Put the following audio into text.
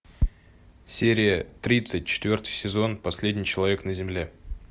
серия тридцать четвертый сезон последний человек на земле